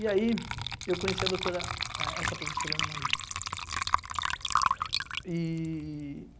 E aí eu conheci a doutora, essa professora Ana Maria. E